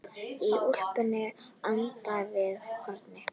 Í úlpunni handan við hornið.